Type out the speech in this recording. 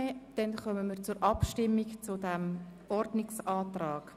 Somit kommen wir zur Abstimmung über den Ordnungsantrag.